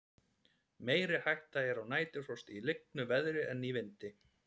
meiri hætta er á næturfrosti í lygnu veðri en í vindi